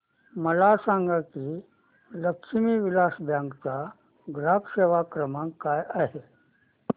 मला सांगा की लक्ष्मी विलास बँक चा ग्राहक सेवा क्रमांक काय आहे